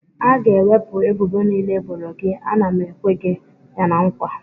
A ga-ewepụ ebubo niile e boro gị, a na m ekwe gị ya na nkwa